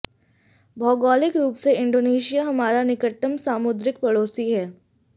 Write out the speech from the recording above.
भौगोलिक रूप से इंडोनेशिया हमारा निकटतम सामुद्रिक पड़ोसी है